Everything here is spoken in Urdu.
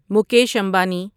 مکیش امبانی